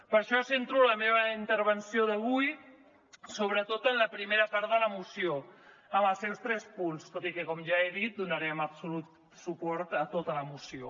per això centro la meva intervenció d’avui sobretot en la primera part de la moció amb els seus tres punts tot i que com ja he dit donarem absolut suport a tota la moció